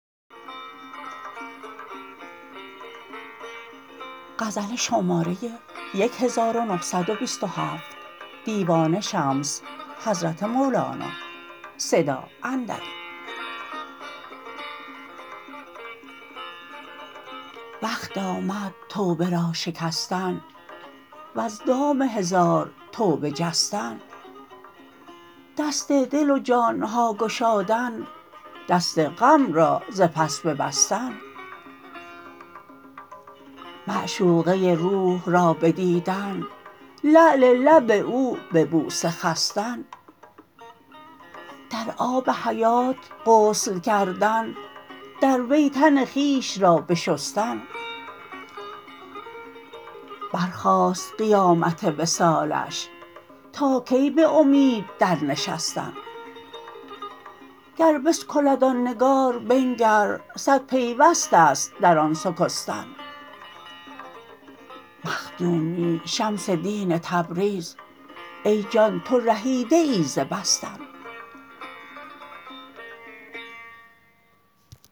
وقت آمد توبه را شکستن وز دام هزار توبه جستن دست دل و جان ها گشادن دست غم را ز پس ببستن معشوقه روح را بدیدن لعل لب او به بوسه خستن در آب حیات غسل کردن در وی تن خویش را بشستن برخاست قیامت وصالش تا کی به امید درنشستن گر بسکلد آن نگار بنگر صد پیوست است در آن سکستن مخدومی شمس دین تبریز ای جان تو رمیده ای ز بستن